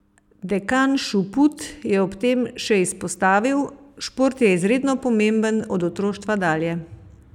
Dekan Šuput je ob tem še izpostavil: "Šport je izredno pomemben od otroštva dalje.